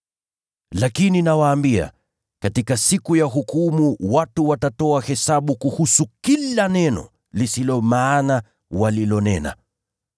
Lakini nawaambia, katika siku ya hukumu watu watatoa hesabu kuhusu kila neno lisilo maana walilonena.